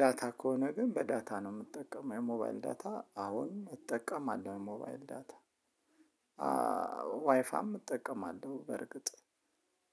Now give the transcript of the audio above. ዳታ ከሆነ ግን በዳታ ነው የምትጠቀመው የሞባይል ዳታ አሁን እጠቀማለሁ ሞባይል ዳታ ዋይፋም እጠቀማለሁ በርግጥ።